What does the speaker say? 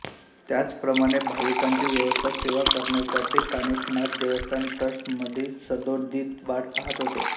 त्याचप्रमाणे भाविकांची व्यवस्था सेवा करण्यासाठी कानिफनाथ देवस्थान ट्रस्ट मढी सदोदीत वाट पाहत आहे